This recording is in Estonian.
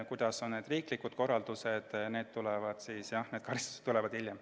Mis puudutab riiklikke korraldusi, siis need tulevad hiljem.